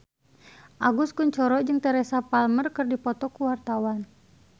Agus Kuncoro jeung Teresa Palmer keur dipoto ku wartawan